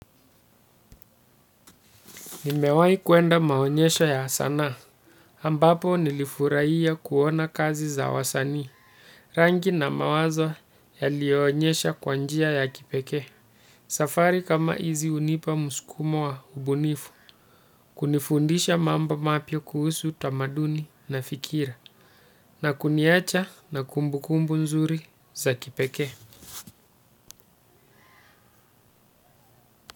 Nimewahi kwenda maonyesho ya sanaa, ambapo nilifurahia kuona kazi za wasanii, rangi na mawazo yaliyoonyesha kwa njia ya kipekee. Safari kama hizi hunipa mskumo wa ubunifu, kunifundisha mambo mapya kuhusu utamaduni na fikira, na kuniwacha na kumbukumbu nzuri za kipekee.